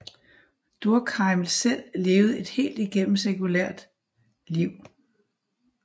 Durkheim selv levede et helt igennem sekulært liv